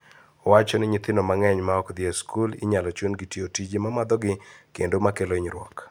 Owacho ni nyithindo mang'eny ma ok dhi e skul inyalo chun tiyo tije mamadho gi kendo makelo hinyruok.